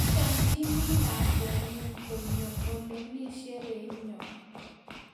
Achamchini lakwengung konyo ole mi sherehinyo